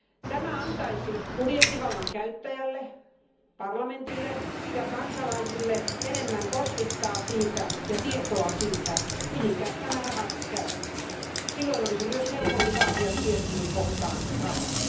Tämä antaisi budjettivallan käyttäjälle, parlamentille, ja kansalaisille enemmän osviittaa ja tietoa siitä, mihin nämä rahat käytetään. Silloin olisi myös helpompi vaatia tiettyyn kohtaan rahaa.